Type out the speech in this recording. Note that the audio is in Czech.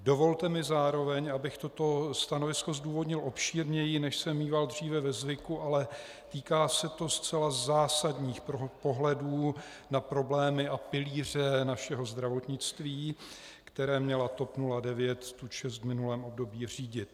Dovolte mi zároveň, abych toto stanovisko zdůvodnil obšírněji, než jsem míval dříve ve zvyku, ale týká se to zcela zásadních pohledů na problémy a pilíře našeho zdravotnictví, které měla TOP 09 tu čest v minulém období řídit.